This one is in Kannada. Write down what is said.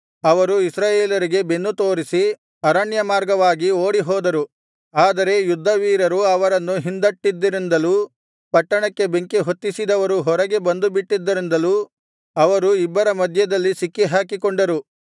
ಅವರು ಇಸ್ರಾಯೇಲರಿಗೆ ಬೆನ್ನು ತೋರಿಸಿ ಅರಣ್ಯಮಾರ್ಗವಾಗಿ ಓಡಿಹೋದರು ಆದರೆ ಯುದ್ಧವೀರರು ಅವರನ್ನು ಹಿಂದಟ್ಟಿದ್ದರಿಂದಲೂ ಪಟ್ಟಣಕ್ಕೆ ಬೆಂಕಿ ಹೊತ್ತಿಸಿದವರು ಹೊರಗೆ ಬಂದುಬಿಟ್ಟಿದ್ದರಿಂದಲೂ ಅವರು ಇಬ್ಬರ ಮಧ್ಯದಲ್ಲಿ ಸಿಕ್ಕಿಹಾಕಿಕೊಂಡರು